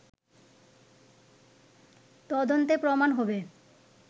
তদন্তে প্রমাণ হবে